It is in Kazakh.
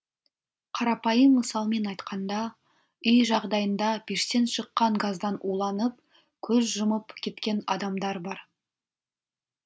қарапайым мысалмен айтқанда үй жағдайында пештен шыққан газдан уланып көз жұмып кеткен адамдар бар